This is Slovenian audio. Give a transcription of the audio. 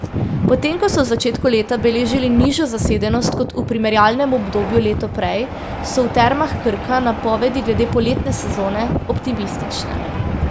Potem ko so v začetku leta beležili nižjo zasedenost kot v primerjalnem obdobju leto prej, so v Termah Krka napovedi glede poletne sezone optimistične.